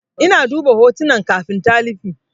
Ina duba hotunan kafin talifi.